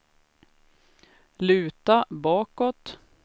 luta bakåt